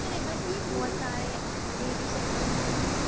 बहुत सारे अ लेडीसे खड़ी हुई है।